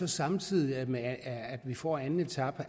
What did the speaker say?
samtidig med at vi får anden etape